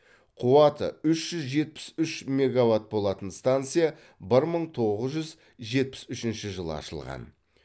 қуаты үш жүз жетпіс үш мегаватт болатын станция бір мың тоғыз жүз жетпіс үшінші жылы ашылған